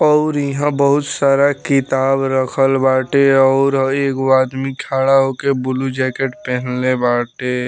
और यहाँ बहुत सारा किताब राखल बाटे और एगो आदमी खड़ा होके बुलू जैकेट पहिनले बाटे।